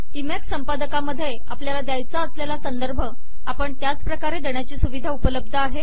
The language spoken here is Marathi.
इमेक संपदकामध्ये आपल्याला द्याचा असलेला संदर्भ आपण त्याच प्रकारे देण्याची सुविधा उपलब्ध आहे